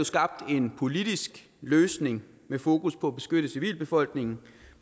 skabt en politisk løsning med fokus på at beskytte civilbefolkningen